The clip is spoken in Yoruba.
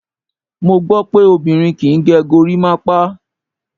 Mo gbó pé obìnrin kí ń gẹ gorímápá.